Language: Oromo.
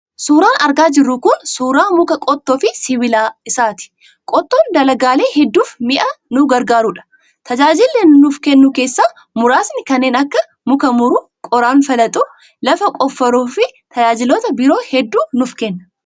Suuraan argaa jirru kun suuraa muka qottoo fi sibiila isaati. Qottoon dalagaalee hedduuf mi'a nu gargaarudha. Tajaajila inni nuuf kennuu keessaa muraasni kanneen akka; muka muruu, qoraan falaxuu, lafa qofforuu fi tajaajiloota biroo hedduu nuuf kenna.